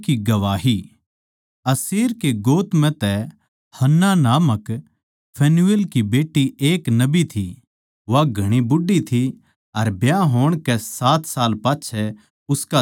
अशेर कै गोत म्ह तै हन्नाह नामक फनूएल की बेट्टी एक नबी थी वा घणी बूढ़ी थी अर ब्याह होण कै सात साल पाच्छै उसका धणी गुजर ग्या